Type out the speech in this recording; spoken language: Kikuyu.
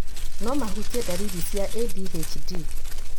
no mahutie ndariri cia ADHD